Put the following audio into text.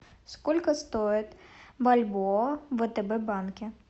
сколько стоит бальбоа в втб банке